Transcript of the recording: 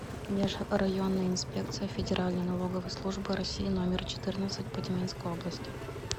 межрайонная инспекция федеральной налоговой службы россии номер четырнадцать по тюменской области